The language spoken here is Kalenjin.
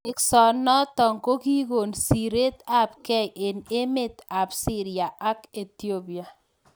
Teksoo notok kokikoon siret ap kei eng emeet ap siria ak Ethiopia